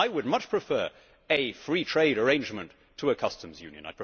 I would much prefer a free trade arrangement to a customs union.